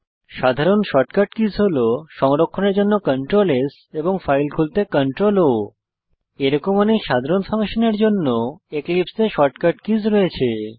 সাধারণ shortcut keys হল সংরক্ষণের জন্য CtrlS এবং ফাইল খুলতে CtrlO এরকম অনেক সাধারণ ফাংশনের জন্য এক্লিপসে এ শর্টকাট কীস রয়েছে